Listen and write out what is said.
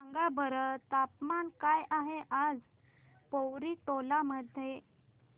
सांगा बरं तापमान काय आहे आज पोवरी टोला मध्ये